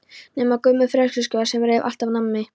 Nema Gummi frekjuskjóða sem reif allt af manni.